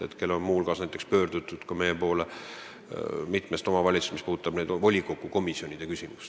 Hetkel on meie poole pöördutud muu hulgas mitmest omavalitsusest, asjades, mis puudutavad volikogu komisjonide küsimust.